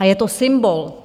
A je to symbol.